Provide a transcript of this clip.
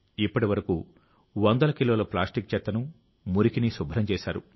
ఇప్పటి వరకు వందల కిలోల ప్లాస్టిక్ చెత్తను మురికిని శుభ్రం చేశారు